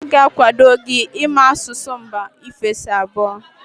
Ha ga-akwado gị ịmụ asụsụ mba ofesi abụọ.